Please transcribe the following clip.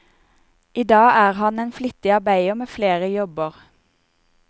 I dag er han en flittig arbeider med flere jobber.